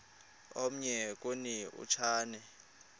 omnye kuni uchane